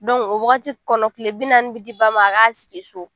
o waagati kɔnɔ kile bi naani bɛ di ba ma a k'a sigi so.